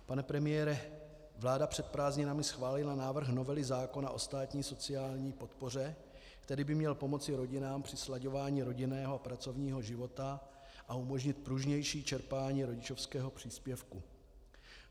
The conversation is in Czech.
Pane premiére, vláda před prázdninami schválila návrh novely zákona o státní sociální podpoře, který by měl pomoci rodinám při slaďování rodinného a pracovního života a umožnit pružnější čerpání rodičovského příspěvku.